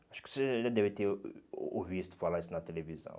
Acho que você já deve ter ouvido falar isso na televisão.